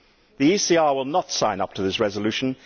The ECR will not sign up to this resolution.